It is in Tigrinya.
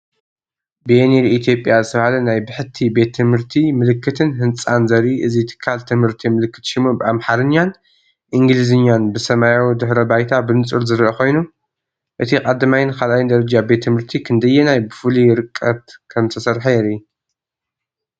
"ቤኒር ኢትዮጵያ" ዝተባህለ ናይ ብሕቲ ቤት ትምህርቲ ምልክትን ህንጻን ዘርኢ እዚ ትካል ትምህርቲ ምልክት ሽሙ ብኣምሓርኛን እንግሊዝኛን ብሰማያዊ ድሕረ ባይታ ብንጹር ዝርአ ኾይኑ፣ እቲ1ይን 2ይን ደረጃ ቤት ት/ቲ ክንደየናይ ብፍሉይ ርቀት ከምዝተሰርሐ የርኢ።